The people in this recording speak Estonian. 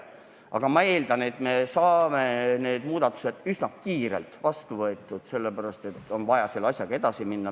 Aga ma eeldan, et me saame need muudatused üsna kiirelt vastu võetud – asjaga on vaja ju edasi minna.